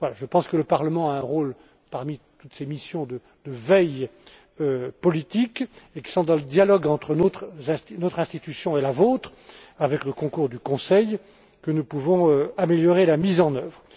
Je pense que le Parlement a un rôle, parmi toutes ces missions, de veille politique, et que c'est dans le dialogue entre notre institution et la vôtre, avec le concours du Conseil, que nous pouvons améliorer la mise en œuvre.